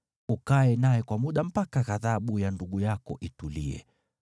Ukae naye kwa muda mpaka ghadhabu ya ndugu yako itulie.